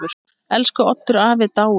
Elsku Oddur afi er dáinn.